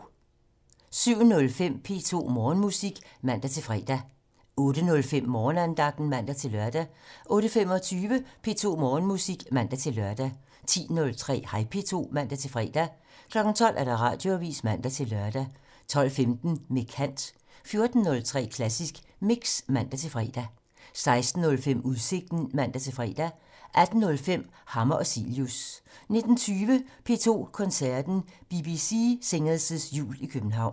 07:05: P2 Morgenmusik (man-fre) 08:05: Morgenandagten (man-lør) 08:25: P2 Morgenmusik (man-lør) 10:03: Hej P2 (man-fre) 12:00: Radioavisen (man-lør) 12:15: Med kant 14:03: Klassisk Mix (man-fre) 16:05: Udsigten (man-fre) 18:05: Hammer og Cilius 19:20: P2 Koncerten - BBC Singers' Jul i København